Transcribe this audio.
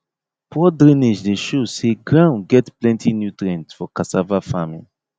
poor drainage dey show say ground get plenty nutrients for cassava farming